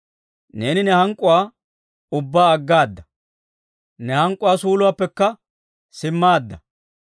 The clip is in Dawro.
Neeni ne hank'k'uwaa ubbaa aggaada; ne hank'k'uwaa suuluwaappekka simmaadda.